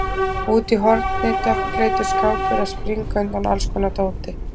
Og úti í horni dökkleitur skápur að springa undan allskonar dóti.